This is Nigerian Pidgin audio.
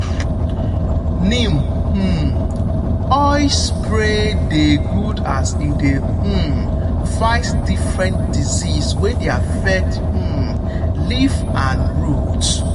neem um oil spray dey good as e dey um fight different disease wey dey affect um leaf and root.